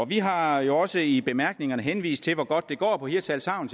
vi har jo også i bemærkningerne henvist til hvor godt det går på hirtshals havn